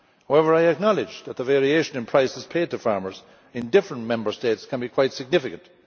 However, I acknowledge that the variation in prices paid to farmers in different Member States can be quite significant.